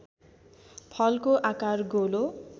फलको आकार गोलो